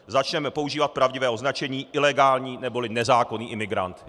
Začněme používat pravdivé označení ilegální neboli nezákonný imigrant.